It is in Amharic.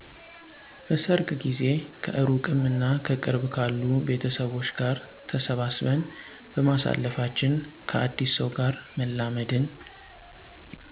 በሰርግ ጊዜ ከእሩቅም እና ከቅርብ ካሉ ቤተሰቦች ጋር ተሰባስበን በማሳለፋችን፣ ከአዲስ ሰው ጋር መላመድን